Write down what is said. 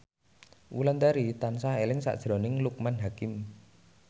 Wulandari tansah eling sakjroning Loekman Hakim